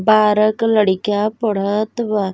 बारह क लड़का पढ़त बा।